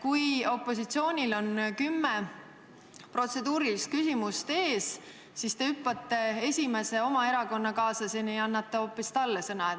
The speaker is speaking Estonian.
Kui opositsioonil on kümme protseduurilist küsimust ees, siis te hüppate esimese oma erakonnakaaslaseni ja annate sõna hoopis talle.